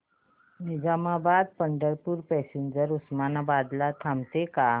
Nizamabad Pandharpur passenger Osmanabad ला थांबते का